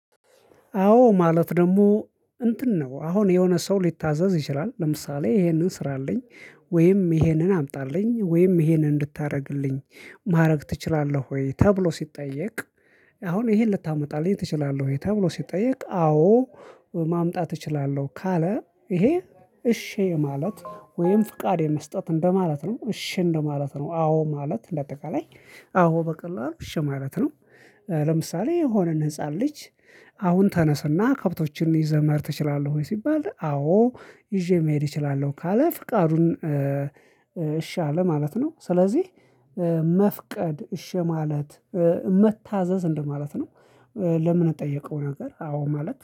አዎ ማለት ደግሞ እንትን ነው አሁን የሆነ ሰው ሊታዘዝ ይችላል ለምሳሌ ይሄንን ስራልኝ ወይም ይሄንን አምጣልኝ ወይም ይሄንን እንድታረግልኝ ማረግ ትችላለህ ወይ ተብሎ ሲጠየቅ። አሁን ይሄን ልታመጣልኝ ትችላለህ ወይ ተብሎ ሲጠየቅ? አዎ። ማምጣት እችላለሁ ካለ ይሄ እሺ የማለት ወይም ፍቃድ የመስጠት እንደማለት ነው። እሺ እንደማለት ነው። አዎ ማለት እንደ አጠቃላይ። አዎ በቀላሉ እሸ ማለት ነው። ለምሳሌ የሆነን ህፃን ልጅ። አሁን ተነስና ከብቶችን ይዘህ መሄድ ትችላለህ ወይ ሲባል። አዎ ይዤ መሄድ እችላለሁ ካለ ፍቃዱን እሺ አለ ማለት ነው። ስለዚህ መፍቀድ እሺ ማለት መታዘዝ እንደማለት ነው። ለምንጠየቀው ነገር አዎ ማለት